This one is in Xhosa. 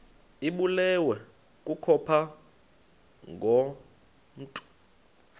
ibulewe kukopha ngokomntu